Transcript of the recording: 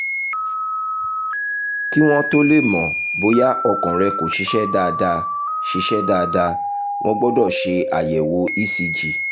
kí wọ́n tó lè mọ̀ bóyá ọkàn rẹ̀ kò ṣiṣẹ́ dáadáa ṣiṣẹ́ dáadáa wọ́n gbọ́dọ̀ ṣe àyẹ̀wò ecg